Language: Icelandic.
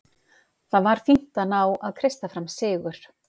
Það var fínt að ná að kreista fram sigur.